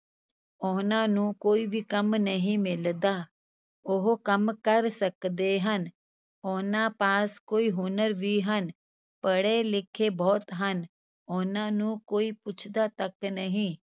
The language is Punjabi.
ਉਹਨਾਂ ਨੂੰ ਕੋਈ ਵੀ ਕੰਮ ਨਹੀਂ ਮਿਲਦਾ ਉਹ ਕੰਮ ਕਰ ਸਕਦੇ ਹਨ, ਉਹਨਾਂ ਪਾਸ ਕੋਈ ਹੁਨਰ ਵੀ ਹਨ, ਪੜ੍ਹੇ ਲਿਖੇ ਬਹੁਤ ਹਨ ਉਹਨਾਂ ਨੂੰ ਕੋਈ ਪੁੱਛਦਾ ਤੱਕ ਨਹੀਂ।